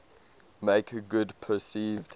make good perceived